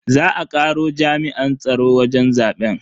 Za a karo jami'an tsaro wajen zaben.